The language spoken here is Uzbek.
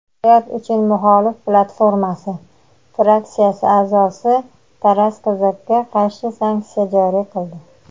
"Hayot uchun muxolif platformasi" fraksiyasi a’zosi Taras Kozakka qarshi sanksiya joriy qildi.